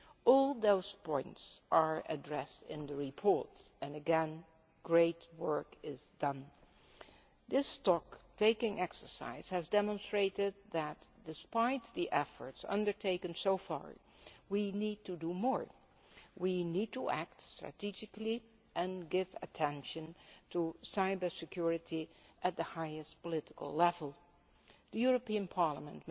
All those points are addressed in the report and, once again, great work has been done. This stocktaking exercise has demonstrated that, despite the efforts undertaken so far, we need to do more. We need to act strategically and give attention to cyber security at the highest political level. Parliament